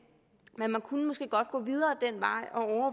men man kunne måske godt gå videre